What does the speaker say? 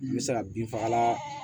N bɛ se ka bin fagalan